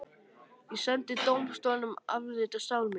Ég sendi dómstólunum afrit af sál minni.